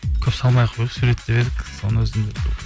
көп салмай ақ қояйық суретті деп едік соның өзінде